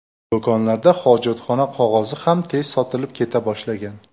Do‘konlarda hojatxona qog‘ozi ham tez sotilib keta boshlagan.